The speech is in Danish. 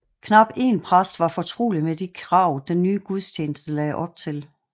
Knap en præst var fortrolig med de krav den nye gudstjeneste lagde op til